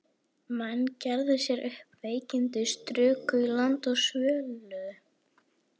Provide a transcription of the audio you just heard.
Menn gerðu sér upp veikindi, struku í land og svölluðu.